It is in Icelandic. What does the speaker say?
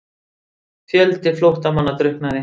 Fjöldi flóttamanna drukknaði